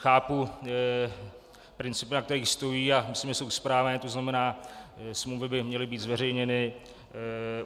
Chápu principy, na kterých stojí, a myslím, že jsou správné, to znamená smlouvy by měly být zveřejněny.